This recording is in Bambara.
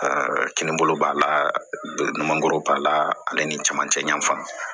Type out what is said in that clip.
kinin bolo b'a la mangoro b'a la ale ni caman cɛ yanfan